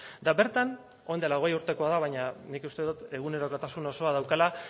eta bertan orain dela hogei urtekoa da baina nik uste dut egunerokotasun osoa daukala